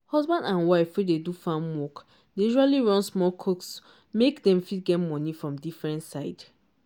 husband and wife wey dey do farm work dey usually run small kiosk make dem fit get money from different side.